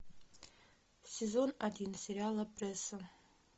сезон один сериала пресса